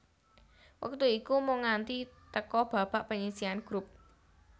Wektu iku mung nganti teka babak panyisihan grup